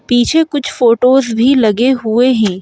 पीछे कुछ फोटोज़ भी लगे हुए हैं।